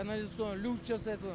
канализационный люк жасайды